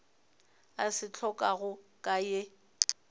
a se hlokago ka ye